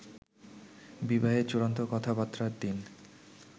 বিবাহের চূড়ান্ত কথাবার্তার দিন